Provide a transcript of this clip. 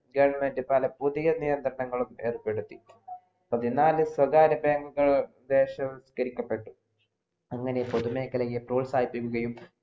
പുതിയ നിയന്ത്രണങ്ങളും ഏർപ്പെടുത്തി പതിനാലു സ്വകാര്യ bank കൾ വത്കരിക്കപ്പെട്ടു അങ്ങനെ പുതു മേഖലയെ പ്രോത്സാഹിപ്പിക്കുകയും